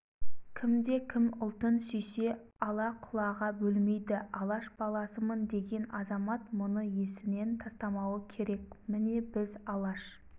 кімде-кім ұлтын сүйсе ала-құлаға бөлмейді алаш баласымын деген азамат мұны есінен тастамауы керек міне біз алаш